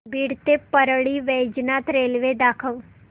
बीड ते परळी वैजनाथ रेल्वे दाखव